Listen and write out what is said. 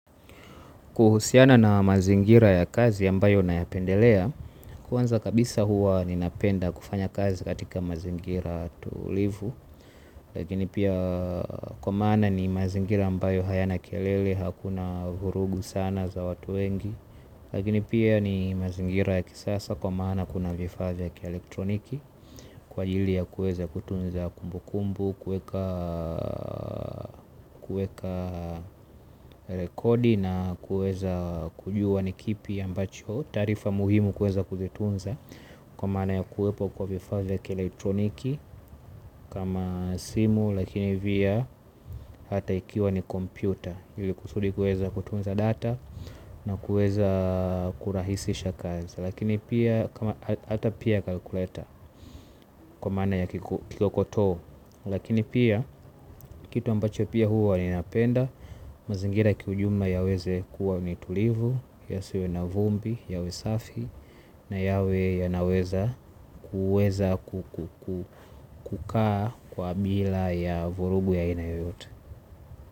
Kuhusiana na mazingira ya kazi ambayo nayapendelea, kwanza kabisa huwa ninapenda kufanya kazi katika mazingira tulivu, lakini pia kwa maana ni mazingira ambayo hayana kelele hakuna vurugu sana za watu wengi, lakini pia ni mazingira ya kisasa kwa maana kuna vifaa vya kielektroniki, kwa ajili ya kuweza kutunza kumbukumbu, kuweka rekodi na kueza kujua ni kipi ambacho taarifa muhimu kuweza kuzitunza kwa maana ya kuwepo kwa vifaa vya kielektroniki kama simu lakini pia hata ikiwa ni kompyuta ili kusudi kuweza kutunza data na kuweza kurahisisha kazi. Lakini pia hata pia kalkuleta kwa maana ya kikokoto. Lakini pia, kitu ambacho pia huwa ninapenda, mazingira kiujumla yaweze kuwa ni tulivu, yasiwe na vumbi, yawe safi, na yawe yanaweza kuweza kukaa kwa bila ya vurugu ya aina yoyote.